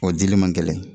O dili man gɛlɛn